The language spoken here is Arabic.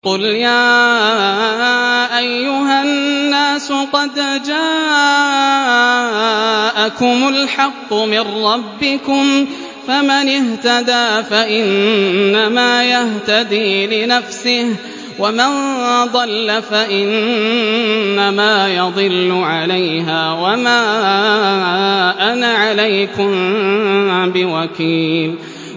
قُلْ يَا أَيُّهَا النَّاسُ قَدْ جَاءَكُمُ الْحَقُّ مِن رَّبِّكُمْ ۖ فَمَنِ اهْتَدَىٰ فَإِنَّمَا يَهْتَدِي لِنَفْسِهِ ۖ وَمَن ضَلَّ فَإِنَّمَا يَضِلُّ عَلَيْهَا ۖ وَمَا أَنَا عَلَيْكُم بِوَكِيلٍ